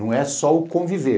Não é só o conviver.